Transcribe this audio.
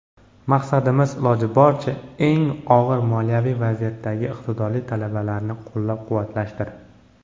Maqsadimiz iloji boricha eng og‘ir moliyaviy vaziyatdagi iqtidorli talabalarni qo‘llab-quvvatlashdir.